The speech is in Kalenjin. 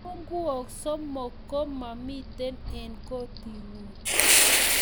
kibung'uok somok ko mamito eng' koting'ung